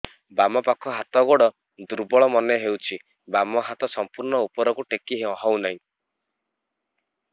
ବାମ ପାଖ ହାତ ଗୋଡ ଦୁର୍ବଳ ମନେ ହଉଛି ବାମ ହାତ ସମ୍ପୂର୍ଣ ଉପରକୁ ଟେକି ହଉ ନାହିଁ